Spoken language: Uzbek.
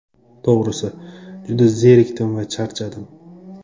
To‘g‘risi, juda zerikdim va charchadim.